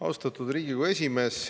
Austatud Riigikogu esimees!